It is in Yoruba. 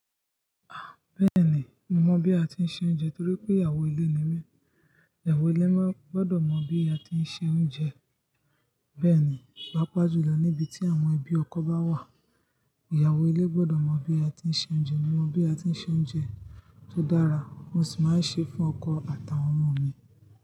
Ah! Bẹ́ẹ̀ ni, mo mọ̀ bí a ti ń se oúnjẹ torí pé ìyàwó ilé ni mí. Iyawọ̀ ilé máa gbọ́dọ̀ mọ̀ bí a ti ń se oúnjẹ. Bẹ́ẹ̀ ni, pàápàá jùlọ níbi tí àwọn ẹbí ọkọ bá wà, ìyàwó ilé gbọ́dọ̀ mọ bí a ti ń se oúnjẹ. Mo mọ bí a ti ń se oúnjẹ tó dára, mo sì máa ń ṣe fún ọkọ àtàwọn ọmọ mi.